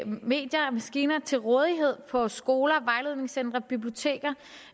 medier og maskiner til rådighed på skoler vejledningscentre biblioteker